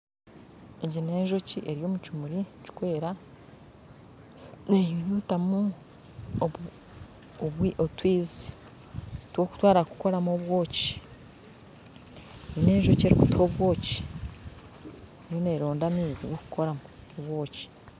Egi n'enjoki eri omukimuri kikwera nenyunyutamu otwizi twokutwara kukoramu obwoki n'enjoki erukutuha obwoki erumu neronda amaizi gokukoramu obwoki